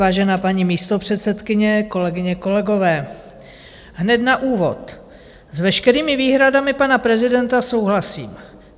Vážená paní místopředsedkyně, kolegyně, kolegové, hned na úvod - s veškerými výhradami pana prezidenta souhlasím.